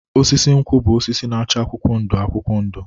Osisi nkwụ bụ osisi na-acha akwụkwọ ndụ akwụkwọ ndụ.